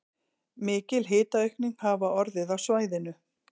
Mikil hitaaukning hafi orðið á svæðinu